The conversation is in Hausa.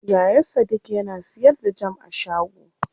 Yaya sadik yana siyar da jam a shago.